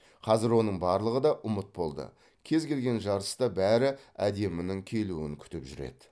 қазір оның барлығы да ұмыт болды кез келген жарыста бәрі әдемінің келуін күтіп жүреді